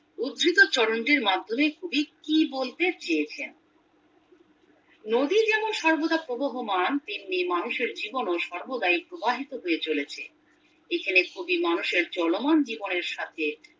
উদ্ধৃত চরণ টির মাধ্যমে কবি কি বলতে চেয়েছেন নদী যেমন সর্বদা প্রবহমান তেমনি মানুষের জীবনও সর্বদা প্রবাহিত হয়ে চলেছে এখানে মানুষের চলমান জীবনের সাথে